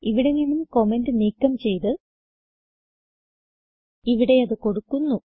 ഇവിടെ നിന്ന് കമന്റ് നീക്കം ചെയ്ത് ഇവിടെ അത് കൊടുക്കുന്നു